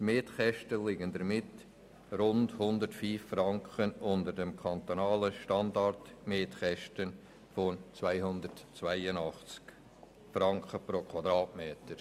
Die Mietkosten liegen damit um rund 105 Franken unter den kantonalen Standardmietkosten von 282 Franken pro Quadratmeter.